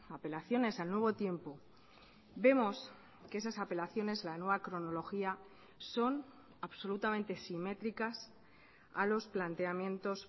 apelaciones al nuevo tiempo vemos que esas apelaciones la nueva cronología son absolutamente simétricas a los planteamientos